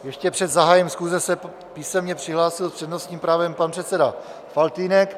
Ještě před zahájením schůze se písemně přihlásil s přednostním právem pan předseda Faltýnek.